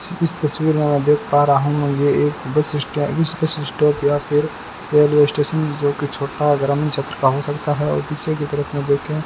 इस तस्वीर में मैं देख पा रहा हूं ये एक बस स्टै बस स्टॉप या फिर रेलवे स्टेशन जोकि छोटा ग्रामीण क्षेत्र का हो सकता है और पीछे की तरफ में देखें --